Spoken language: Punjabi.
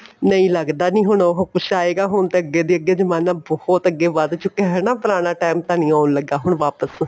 ਨਹੀਂ ਲੱਗਦਾ ਨਹੀਂ ਉਹ ਕੁੱਛ ਆਂਏਗਾ ਹੁਣ ਤੇ ਅੱਗੇ ਦੀ ਅੱਗੇ ਜਮਾਣਾ ਬਹੁਤ ਅੱਗੇ ਵੱਧ ਚੁੱਕਿਆਂ ਏ ਹੈਨਾ ਪੁਰਾਣਾ ਟੇਮ ਤਾਂ ਨਹੀਂ ਆਉਣ ਲੱਗਾ ਹੁਣ ਵਾਪਿਸ